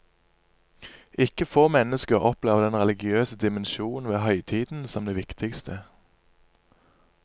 Ikke få mennesker opplever den religiøse dimensjon ved høytiden som det viktigste.